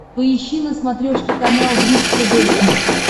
поищи на смотрешке канал бридж тв хитс